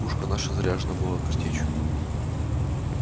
пушка наша заряжена была картечью